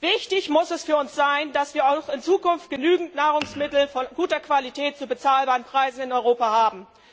Wichtig muss es für uns sein, dass wir auch in Zukunft genügend Nahrungsmittel von guter Qualität zu bezahlbaren Preisen in Europa haben.